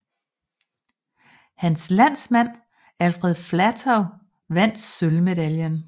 Hans landsmand Alfred Flatow vandt sølvmedaljen